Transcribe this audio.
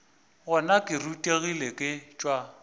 gona ke rutegile ke tšwa